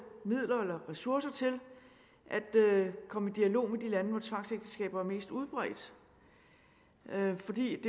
midler eller ressourcer til at komme i dialog med de lande hvor tvangsægteskaber er mest udbredt for det